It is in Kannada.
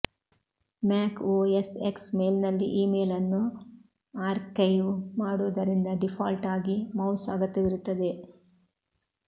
ಮ್ಯಾಕ್ ಒಎಸ್ ಎಕ್ಸ್ ಮೇಲ್ನಲ್ಲಿ ಇಮೇಲ್ ಅನ್ನು ಆರ್ಕೈವ್ ಮಾಡುವುದರಿಂದ ಡೀಫಾಲ್ಟ್ ಆಗಿ ಮೌಸ್ ಅಗತ್ಯವಿರುತ್ತದೆ